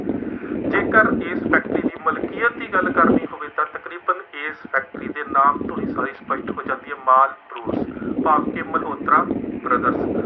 ਜੇਕਰ ਇਸ ਫੈਕਟਰੀ ਦੀ ਮਲਕੀਅਤ ਦੀ ਗੱਲ ਕਰਨੀ ਹੋਵੇ ਤਾਂ ਤਕਰੀਬਨ ਇਸ ਫੈਕਟਰੀ ਦੇ ਨਾਮ ਤੋਂ ਸਾਰੀ ਸਪੱਸ਼ਟ ਹੋ ਜਾਦੀ ਹੈ, ਮਾਲਬਰੋਸਕ, ਭਾਵ ਕਿ ਮਲਹੋਤਰਾ ਬਰਦਰਜ਼।